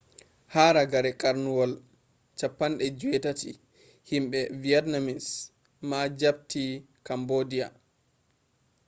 haa ragare karnuwol 18th himbe vietnamese ma japti cambodia